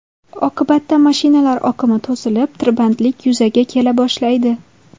Oqibatda mashinalar oqimi to‘silib, tirbandlik yuzaga kela boshlaydi.